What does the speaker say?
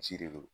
Misi de don